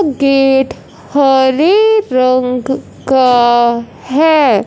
Gate हरे रंग का है।